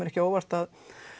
ekki á óvart